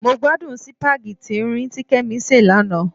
Mo gbádùn sípágì tín-ín-rín tí Kẹ́mi sè lánàá.